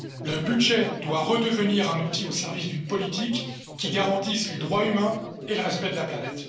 Le budget doit redevenir un outil au service d'une politique qui garantisse les droits humains et le respect de la planète.